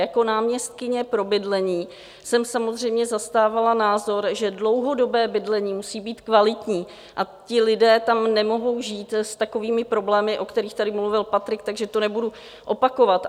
Jako náměstkyně pro bydlení jsem samozřejmě zastávala názor, že dlouhodobé bydlení musí být kvalitní a ti lidé tam nemohou žít s takovými problémy, o kterých tady mluvil Patrik, takže to nebudu opakovat.